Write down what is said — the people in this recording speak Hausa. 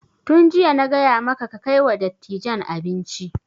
Tun jiya na gaya maka kai kai wa dattijan abinci!